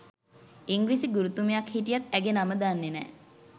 ඉංග්‍රීසි ගුරුතුමියක් හිටියත් ඇගේ නම දන්නේ නෑ.